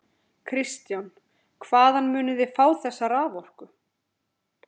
Kristján: Hvaðan munið þið fá þessa raforku?